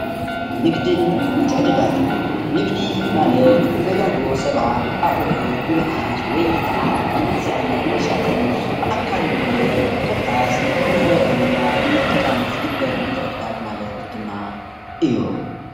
ንግድን ምትዕድዳግን ንግዲ ማለት ነጋዶ ሰባት ኣቁሑ ብምሓዝ ወይ ከዓ ብምግዛእን ብምሻጥን ብኣካል ኮነ ኮታስ ብማሕበራዊ ሚድያ ብምጥቃም ዝግበር ምትዕድጋግ ማለት ድማ እዩ።